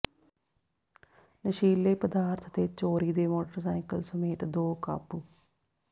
ਨਸ਼ੀਲੇ ਪਦਾਰਥ ਤੇ ਚੋਰੀ ਦੇ ਮੋਟਰਸਾਈਕਲ ਸਮੇਤ ਦੋ ਕਾਬੂ